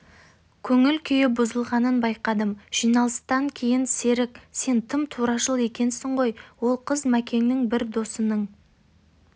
көңіл-күйі бұзылғанын байқадым жиналыстан кейін серік сен тым турашыл екенсің ғой ол қыз мәкеңнің бір досының